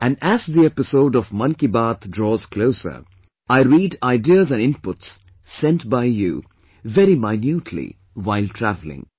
Andas the episode of Mann Ki Baat draws closer, I read ideas and inputs sent by you very minutely while travelling